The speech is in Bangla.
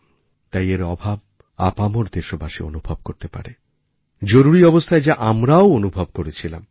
তাই এর অভাবআপামর দেশবাসী অনুভব করতে পারে জরুরি অবস্থায় যা আমরাও অনুভব করেছিলাম